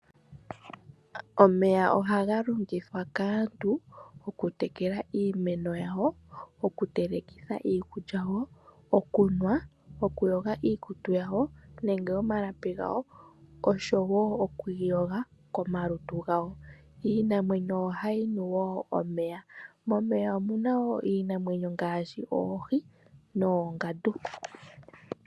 Omeya ohaga longithwa kaantu oku tekela iimeno yawo, oku telekitha iikulya yawo, okunwa, oku yoga iikutu yawo nenge omalapi gawo osho wo okwiiyoga komalutu gawo. Iinamwenyo ohayi nu wo omeya, momeya omuna woo iinamwenyo ngaashi Oohi nOongandu.